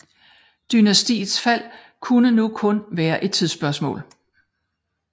Dynastiets fald kunne nu kun være et tidsspørgsmål